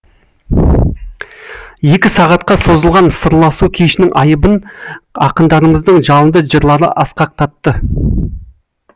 екі сағатқа созылған сырласу кешінің айбынын ақындарымыздың жалынды жырлары асқақтатты